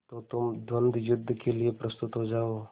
तो तुम द्वंद्वयुद्ध के लिए प्रस्तुत हो जाओ